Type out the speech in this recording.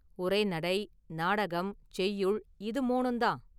உரைநடை, நாடகம், செய்யுள் இது மூனும் தான்.